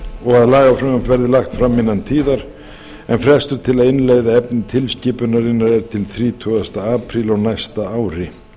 og að lagafrumvarp verði lagt fram innan tíðar en frestur til að innleiða efni tilskipunarinnar er til þrítugasta apríl á næsta ári